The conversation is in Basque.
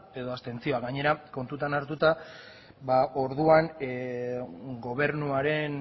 edo abstentzioa gainera kontutan hartuta orduan gobernuaren